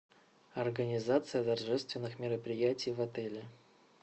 организация торжественных мероприятий в отеле